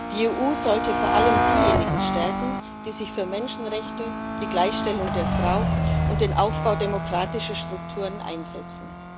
Die EU sollte vor allem diejenigen stärken, die sich für Menschenrechte, die Gleichstellung der Frau und den Aufbau demokratischer Strukturen einsetzen.